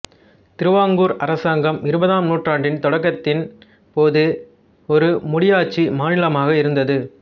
திருவாங்கூர் அரசாங்கம் இருபதாம் நூற்றாண்டின் தொடக்கத்தின் போது ஒரு முடியாட்சி மாநிலமாக இருந்தது